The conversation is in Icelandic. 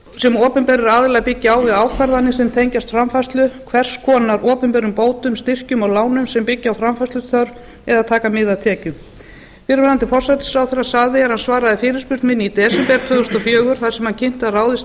sem opinberir aðilar byggja á við ákvarðanir sem tengjast framfærslu hvers konar opinberum bótum styrkjum og lánum sem byggja á framfærsluþörf eða taka mið af tekjum fyrrverandi forsætisráðherra sagði er hann svaraði fyrirspurn minni í desember tvö þúsund og fjögur þar sem hann kynnti að ráðist yrði